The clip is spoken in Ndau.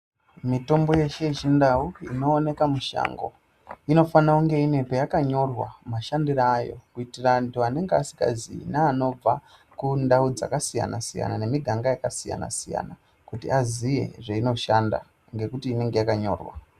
Mitombo yeshe yechindau inooneka mushango inofana kunge ine peyakanyorwa mashandire ayo kuitire antu anenge asingazive neanobva kundau dzakasiyana siyana nemiganga yakasiyana siyana kuti aziye zveinoshanda ngekuti inenge yakanyorwa